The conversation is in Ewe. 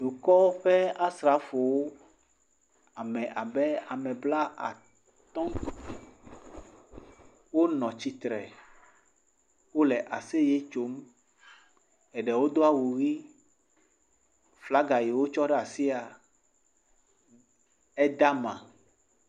Dukɔ ƒe asrafowo. Ame abe ame blatɔ̃ wonɔ tsitre wole aseye tsom. Eɖewo do awu ʋi. flaga yi wotsɔ ɖe asia eda ma.